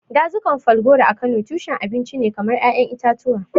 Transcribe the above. Dazukan Falgore a Kano tushen abinci ne kamar ƴaƴan itatuwa.